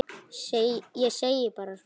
Ég segi bara svona.